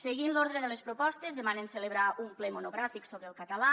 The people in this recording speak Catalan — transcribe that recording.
seguint l’ordre de les propostes demanen celebrar un ple monogràfic sobre el català